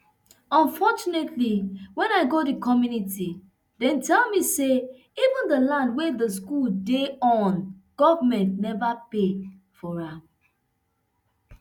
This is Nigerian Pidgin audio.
unfortunately wen i go di community dem tell me say even di land wey di school dey on government neva pay for am